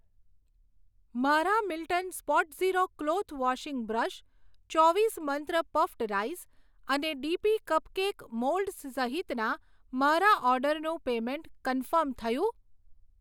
મારા Milton spot zero cloth washing brush, ચોવીસ મંત્ર પફ્ડ રાઈસ અને ડીપી કપકેક મોલ્ડસ સહિતના મારા ઓર્ડરનું પેમેંટ કન્ફર્મ થયું?